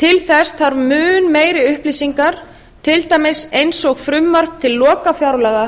til þess þarf mun meiri upplýsingar til dæmis eins og frumvarp til lokafjárlaga